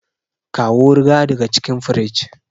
kawo ruwa daga cikin fridge